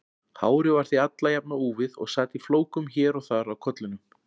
Hárið var því alla jafna úfið og sat í flókum hér og þar á kollinum.